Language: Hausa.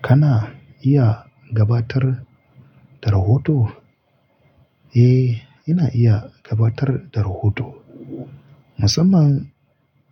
Kana iya gabatar da rahoto? Eh, ina iya gabatar da rahoto, musamman